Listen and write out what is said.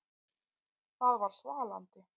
Það var svalandi.